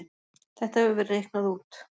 Þetta hefur verið reiknað út.